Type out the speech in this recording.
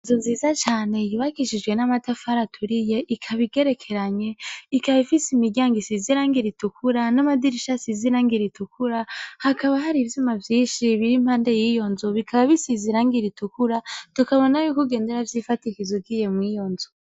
Inzu nziza Cane yubakishijwe n’amatafari aturiye ikaba igerekeranye ,ikaba Ifise imiryango ritukura n’amadirisha asize irangi ritukura, hakaba hari ivyuma vyinshi biri impande yiyo nzu bisize irangi ritukura tukabona yuko kugenda uvyidikiza ugiye mwiyo nzu